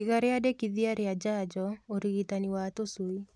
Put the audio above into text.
Iga riandikithia rĩa njanjo, ũrigitani wa tũshui